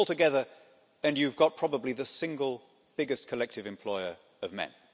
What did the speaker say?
Put them altogether and you've got probably the single biggest collective employer of men.